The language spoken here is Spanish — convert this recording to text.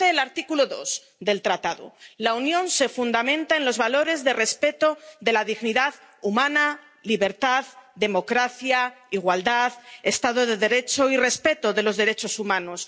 Lo dice el artículo 2 del Tratado la Unión se fundamenta en los valores de respeto de la dignidad humana, libertad, democracia, igualdad, Estado de Derecho y respeto de los derechos humanos